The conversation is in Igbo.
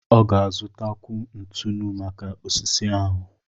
Ọ ga-azụtakwu ntụnụ maka osisi ahụ.